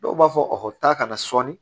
Dɔw b'a fɔ taa ka na sɔɔni